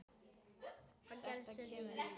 Þetta kemur í ljós!